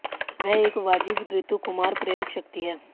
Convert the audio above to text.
वह एक वाजिब ऋतु कुमार प्रेरक शक्ति हैं